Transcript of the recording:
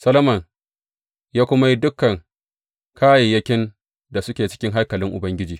Solomon ya kuma yi dukan kayayyakin da suke cikin haikalin Ubangiji.